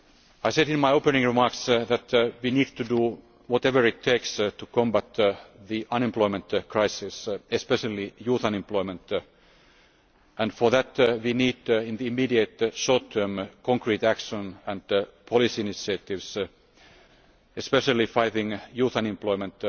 I said in my opening remarks that we need to do whatever it takes to combat the unemployment crisis, especially youth unemployment, and for that we need, in the immediate short term, concrete action and policy initiatives, especially in fighting youth unemployment.